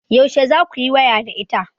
Yaushe za kuyi waya da ita?